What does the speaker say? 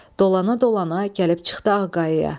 Dolana-dolana gəlib çıxdı Ağqaya.